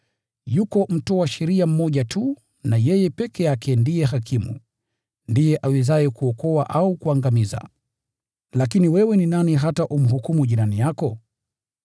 Yuko Mtoa sheria mmoja tu na yeye peke yake ndiye Hakimu, ndiye awezaye kuokoa au kuangamiza. Lakini wewe ni nani hata umhukumu jirani yako?